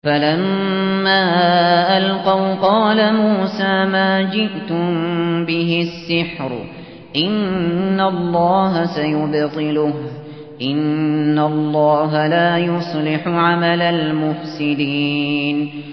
فَلَمَّا أَلْقَوْا قَالَ مُوسَىٰ مَا جِئْتُم بِهِ السِّحْرُ ۖ إِنَّ اللَّهَ سَيُبْطِلُهُ ۖ إِنَّ اللَّهَ لَا يُصْلِحُ عَمَلَ الْمُفْسِدِينَ